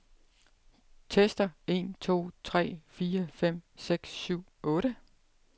Tester en to tre fire fem seks syv otte.